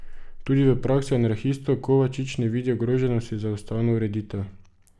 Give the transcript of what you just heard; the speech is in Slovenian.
Tudi v praksi anarhistov Kovačič ne vidi ogroženosti za ustavno ureditev.